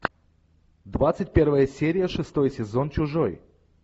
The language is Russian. двадцать первая серия шестой сезон чужой